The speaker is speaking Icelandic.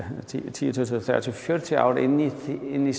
tíu tuttugu þrjátíu fjörutíu ár inn í